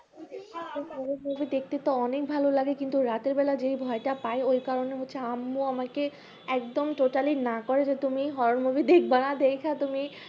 horror movie দেখতে তো অনেক ভালো লাগে কিন্তু রাতের বেলায় যে ভয়টা পাই ওই কারণে হচ্ছে আম্মু আমাকে একদম totally ই না করে যে তুমি horror movie দেখবানা দেখা তুমি